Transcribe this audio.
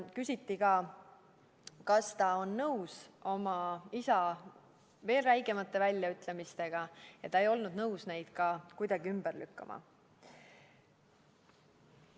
Küsiti ka, kas ta on nõus oma isa veel räigemate väljaütlemistega, ja ta ei olnud nõus neid kuidagi ümber lükkama.